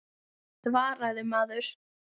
Svaraðu maður.